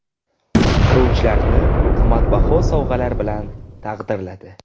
Quruvchilarni qimmatbaho sovg‘alar bilan taqdirladi.